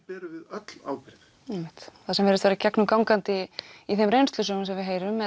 erum við öll ábyrg einmitt það sem virðist vera gegnumgangandi í þeim reynslusögum sem við heyrum